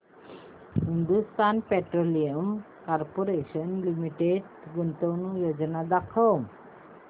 Hindustan Petroleum Corporation Limited गुंतवणूक योजना दाखव